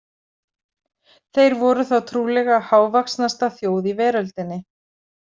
Þeir voru þá trúlega hávaxnasta þjóð í veröldinni.